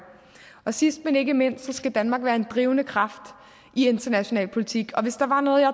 sidst men ikke mindst skal danmark være en drivende kraft i international politik hvis der var noget jeg